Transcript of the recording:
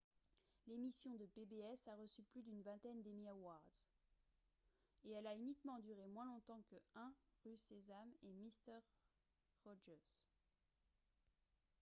l'émission de pbs a reçu plus d'une vingtaine d'emmy awards et elle a uniquement duré moins longtemps que 1 rue sésame et mister rogers